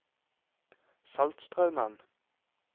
Saltstraumen